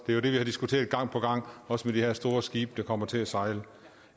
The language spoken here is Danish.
vi har diskuteret gang på gang også i de her store skibe der kommer til at sejle